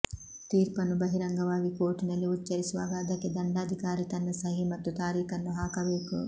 ತೀರ್ಪನ್ನು ಬಹಿರಂಗವಾಗಿ ಕೋರ್ಟಿನಲ್ಲಿ ಉಚ್ಚರಿಸುವಾಗ ಅದಕ್ಕೆ ದಂಡಾಧಿಕಾರಿ ತನ್ನ ಸಹಿ ಮತ್ತು ತಾರೀಕನ್ನು ಹಾಕಬೇಕು